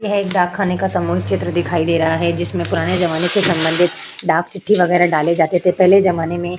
यह एक डाक खाने का सामूहिक चित्र दिखाई दे रहा है जिसमे पुराने ज़माने से सम्बंधित डाक चिट्ठी वेगरा डाले जाते थे पहले ज़माने में --